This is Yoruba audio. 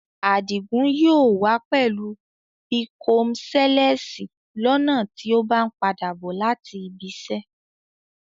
Adìgún yóò wà pẹ̀lú bíkọ́mṣèlẹ̀sì lọ́na tì o bá n padà bọ̀ láti ìbìṣẹ